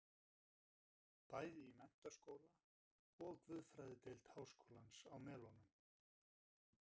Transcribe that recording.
Bæði í menntaskóla og guðfræðideild háskólans á Melunum.